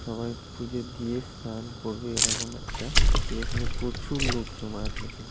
সবাই পুজো দিয়ে স্নান করবে এরকম একটা সিচুয়েশনে প্রচুর লোক জমায়েত হয়েছে।